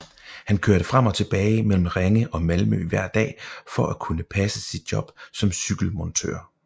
Han kørte frem og tilbage mellem Ringe og Malmø hver dag for at kunne passe sit job som cykelmontør